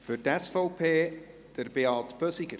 Für die SVP, Beat Bösiger.